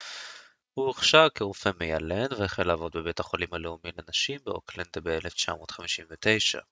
הוא הוכשר כרופא מיילד והחל לעבוד בבית החולים הלאומי לנשים באוקלנד ב-1959